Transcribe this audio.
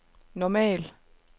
normal